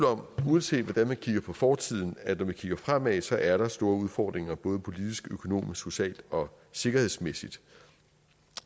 om uanset hvordan man kigger på fortiden at når vi kigger fremad er der store udfordringer både politisk økonomisk socialt og sikkerhedsmæssigt